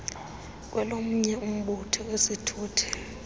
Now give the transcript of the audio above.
kwelomnye umbutho kwisithuthi